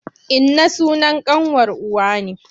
Inna sunan ƙanwar uwa ne.